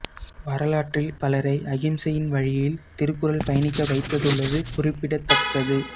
வரலாற்றில் பலரை அகிம்சையின் வழியில் திருக்குறள் பயணிக்க வைத்ததுள்ளது குறிப்பிடத்தக்கது